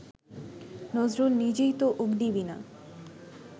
নজরুল নিজেই তো অগ্নিবীণা